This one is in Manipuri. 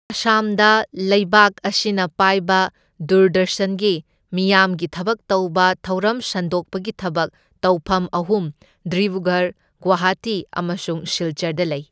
ꯑꯁꯥꯝꯗ ꯂꯩꯕꯥꯛ ꯑꯁꯤꯅ ꯄꯥꯏꯕ ꯗꯨꯔꯗꯔꯁꯟꯒꯤ ꯃꯤꯌꯥꯝꯒꯤ ꯊꯕꯛ ꯇꯧꯕ ꯊꯧꯔꯝ ꯁꯟꯗꯣꯛꯄꯒꯤ ꯊꯕꯛ ꯇꯧꯐꯝ ꯑꯍꯨꯝ ꯗꯤꯕ꯭ꯔꯨꯒꯔꯍ, ꯒꯨꯋꯥꯍꯥꯇꯤ ꯑꯃꯁꯨꯡ ꯁꯤꯜꯆꯔꯗ ꯂꯩ꯫